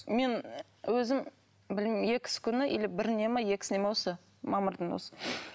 мен өзім білмеймін екісі күні или біріне ме екісіне ме осы мамырдың осы